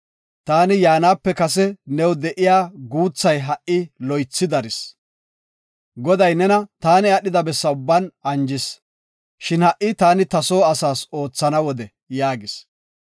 Taani yaanape kase new de7iya guuthay ha7i loythi daris. Goday nena taani aadhida bessa ubban anjis. Shin ha7i, taani ta soo asaas oothana wode” yaagis.